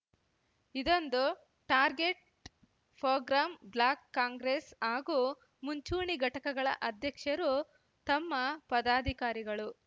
ಇದೊಂದು target program block Congress ಹಾಗೂ ಮುಂಚೂಣಿ ಘಟಕಗಳ ಅಧ್ಯಕ್ಷರು ತಮ್ಮ ಪದಾಧಿಕಾರಿಗಳು